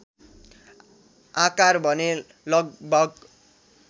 आकार भने लगभग